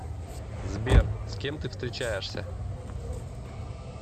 сбер с кем ты встречаешься